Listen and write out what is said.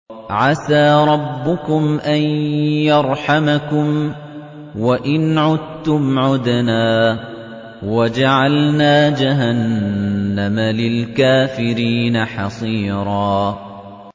عَسَىٰ رَبُّكُمْ أَن يَرْحَمَكُمْ ۚ وَإِنْ عُدتُّمْ عُدْنَا ۘ وَجَعَلْنَا جَهَنَّمَ لِلْكَافِرِينَ حَصِيرًا